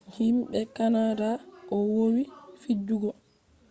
fijerde nadal nyami 7-2 be himɓe kanada o wowi fijugo